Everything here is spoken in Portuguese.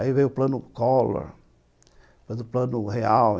Aí veio o Plano Collor, o Plano Real.